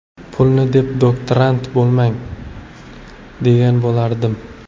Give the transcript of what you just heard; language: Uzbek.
Pulni deb doktorant bo‘lmang, degan bo‘lardim.